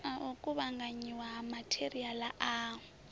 u kuvhanganyiwa ha matheriala a